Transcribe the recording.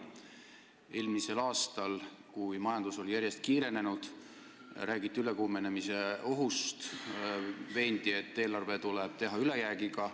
Eelmisel aastal, kui majanduskasv järjest kiirenes, räägiti ülekuumenemise ohust ja veendi, et eelarve tuleb teha ülejäägiga.